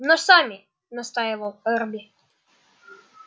но сами настаивал эрби